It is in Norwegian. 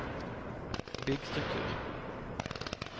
bygg struktur